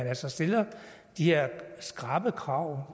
altså stiller de her skrappe krav